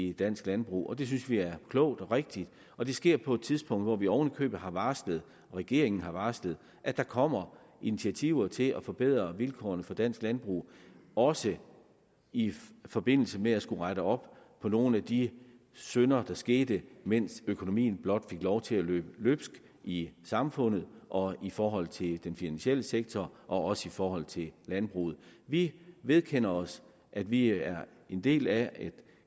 i dansk landbrug og det synes vi er klogt og rigtigt og det sker på et tidspunkt hvor vi oven i købet har varslet og regeringen har varslet at der kommer initiativer til at forbedre vilkårene for dansk landbrug også i forbindelse med det at skulle rette op på nogle af de synder er sket mens økonomien blot fik lov til at løbe løbsk i samfundet og i forhold til den finansielle sektor og også i forhold til landbruget vi vedkender os at vi er en del af